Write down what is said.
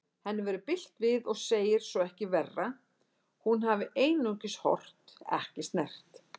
Henni verður bilt við og segir svo ekki vera, hún hafi einungis horft, ekki snert.